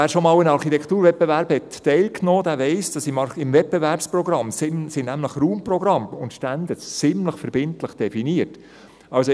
Wer schon jemals an einem Architekturwettbewerb teilgenommen hat, weiss, dass im Wettbewerbsprogramm Raumprogramme und Standards ziemlich verbindlich definiert sind.